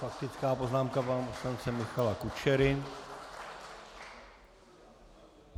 Faktická poznámka pana poslance Michala Kučery.